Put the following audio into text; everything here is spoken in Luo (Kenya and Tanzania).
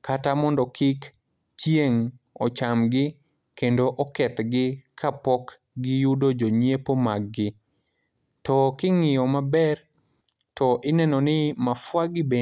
kata mondo kik chieng' ochamgi, kendo okethgi, ka pok giyudo jonyiepo maggi. To king'iyo maber, to ineno ni, mafua gi bende.